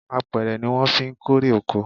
Apẹ̀rẹ̀ ni wọn fí ń kórè oko